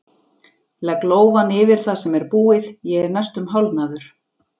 Legg lófann yfir það sem er búið, ég er næstum hálfnaður!